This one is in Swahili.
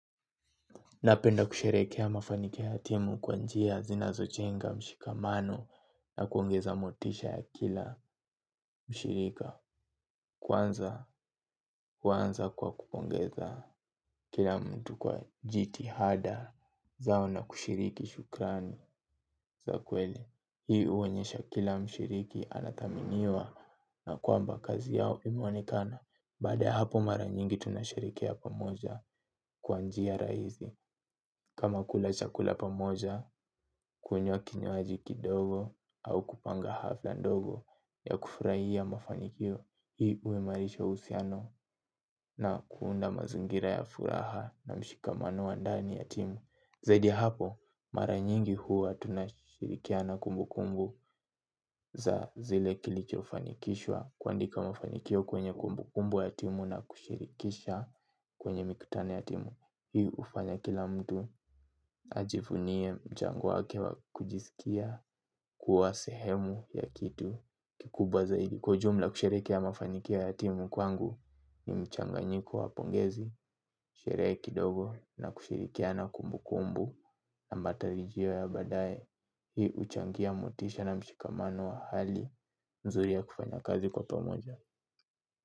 Napenda kusherehekea mafanikio ya timu kwa njia zinazojenga mshikamano na kuongeza motisha ya kila mshirika. Kwanza huanza kwa kupongeza kila mtu kwa jitihada zao na kushiriki shukrani za kweli. Hii uonyesha kila mshiriki anathaminiwa na kwamba kazi yao imeonekana. Baada ya hapo mara nyingi tunasherekea pamoja kwa njia raizi. Kama kula chakula pamoja, kunywa kinywaji kidogo au kupanga hafla ndogo ya kufurahia mafanikio, hii uimarisha uhusiano na kuunda mazingira ya furaha na mshikamano wa ndani ya timu. Zaidi ya hapo, mara nyingi huwa tunashirikiana kumbukumbu za zile kilichofanikishwa kuandika mafanikio kwenye kumbukumbu ya timu na kushirikisha kwenye mikutano ya timu. Hii ufanya kila mtu ajivunie mchango wake wa kujisikia kuwa sehemu ya kitu kikubwa zaidi. Kwa ujumla kusherekea mafanikio ya timu kwangu ni mchanganyiko wa pongezi. Sherehe kidogo na kushirikiana kumbukumbu na matarijio ya baadae. Hii uchangia motisha na mshikamano wa hali mzuri ya kufanya kazi kwa pomoja.